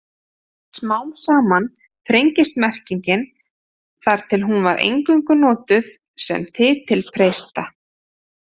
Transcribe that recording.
Smám saman þrengist merkingin þar til hún var eingöngu notuð sem titill presta.